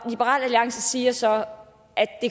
liberal alliance siger så at